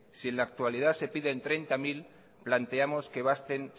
si en la actualidad se piden treinta mil planteamos que basten